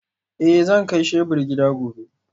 Eh zan kai shebur gida gobe